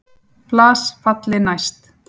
Flas falli næst.